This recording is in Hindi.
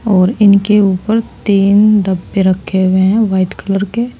और इनके ऊपर तीन डब्बे रखे हुए हैं व्हाइट कलर के।